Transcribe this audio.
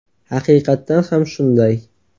Haqiqatdan ham shunday.